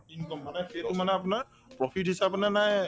income মানে সেইটো মানে আপোনাৰ profit